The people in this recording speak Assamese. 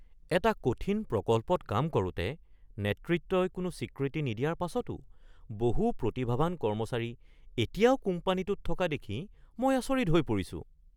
এটা কঠিন প্ৰকল্পত কাম কৰোঁতে নেতৃত্বই কোনো স্বীকৃতি নিদিয়াৰ পাছতো বহু প্ৰতিভাৱান কৰ্মচাৰী এতিয়াও কোম্পানীটোত থকা দেখি মই আচৰিত হৈ পৰিছোঁ।